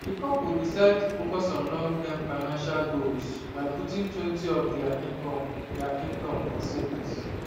di couple decide to focus on longterm financial goals by puttingtwentyof dia income dia income for savings